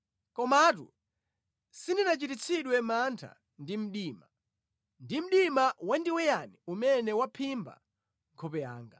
Komatu sindinachititsidwe mantha ndi mdima, ndi mdima wandiweyani umene waphimba nkhope yanga.